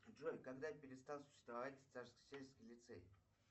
джой когда перестал существовать царскосельский лицей